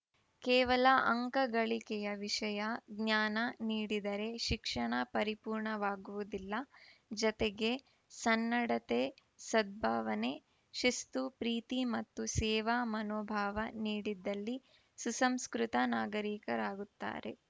ಕೇವಲ ಅಂಕ ಗಳಿಕೆಯ ವಿಷಯ ಜ್ಞಾನ ನೀಡಿದರೆ ಶಿಕ್ಷಣ ಪರಿಪೂರ್ಣವಾಗುವುದಿಲ್ಲ ಜತೆಗೆ ಸನ್ನಡತೆ ಸದ್ಭಾವನೆ ಶಿಸ್ತು ಪ್ರೀತಿ ಮತ್ತು ಸೇವಾ ಮನೋಭಾವ ನೀಡಿದಲ್ಲಿ ಸುಸಂಸ್ಕೃತ ನಾಗರಿಕರಾಗುತ್ತಾರೆ